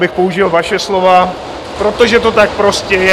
Abych použil vaše slova - protože to tak prostě je.